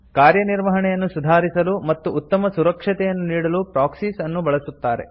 ಕಾರ್ಯನಿರ್ವಹಣೆಯನ್ನು ಸುಧಾರಿಸಲು ಮತ್ತು ಉತ್ತಮ ಸುರಕ್ಷೆಯನ್ನು ನೀಡಲು ಪ್ರಾಕ್ಸೀಸ್ ಅನ್ನು ಬಳಸುತ್ತಾರೆ